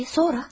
E, sonra?